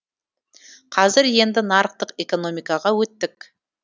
қазір енді нарықтық экономикаға өттік